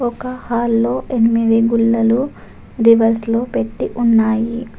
ఒక హాల్లో ఎనిమిది గుల్లలు రివర్స్ లో పెట్టి ఉన్నాయి.